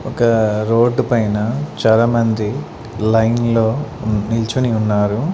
ఒక రోడ్డు పైన చాలామంది లైన్ లో నిల్చోని ఉన్నారు.